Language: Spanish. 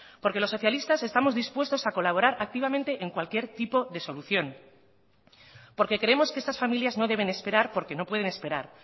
porque los socialistas estamos dispuestos a colaborar activamente en cualquier tipo de solución porque creemos que estas familias no deben esperar porque no pueden esperar